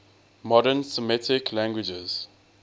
modern semitic languages